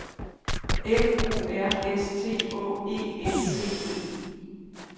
F O R S T Å E N D E